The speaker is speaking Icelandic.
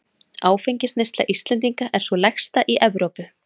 Áfengisneysla Íslendinga er sú lægsta í Evrópu.